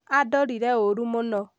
andorire ũru mũno